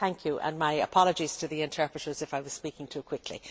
Thank you and my apologies to the interpreters if I was speaking too quickly.